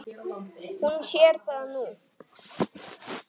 Hún sér það nú.